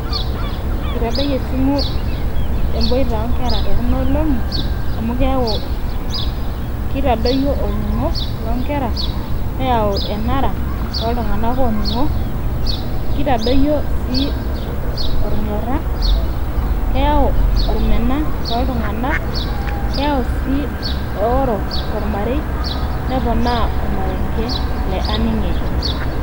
Itadoyie esimu eboita onkera tekunolong'i, amu keeku kitadoyio olning'o lonkera, neeu enara toltung'anak oning'o, kitadoyio si olnyorra, keeu olmena toltung'anak, keeu si eoro tormarei, neponaa ormarenke le aning' eji.